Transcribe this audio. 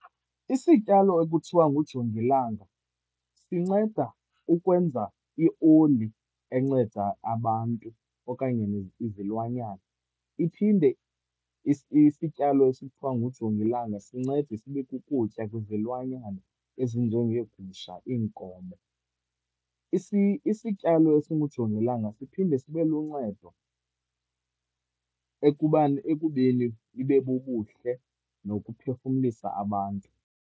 Isityalo ekuthiwa ngujongilanga sinceda ukwenza ioli enceda abantu okanye izilwanyana. Iphinde isityalo esithwa ngujongilanga sincede sibe kukutya kwizilwanyana ezinjengeegusha, iinkomo. Isityalo esingujongilanga siphinde sibe luncedo ekubeni ibe bubuhle nokuphefumlisa abantu.